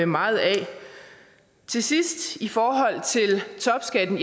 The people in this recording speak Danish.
meget af til sidst i forhold til topskatten